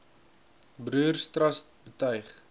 broers trust betuig